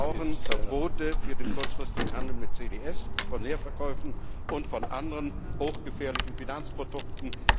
Wir brauchen Verbote für den kurzfristigen Handel mit CDS, von Leerverkäufen und von anderen hochgefährlichen Finanzprodukten.